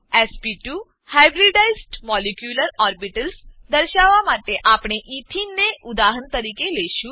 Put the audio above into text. sp2 hybridised molecular orbitals દર્શાવવા માટે આપણે એથેને ઇથીન ને ઉદાહરણ તરીકે લેશું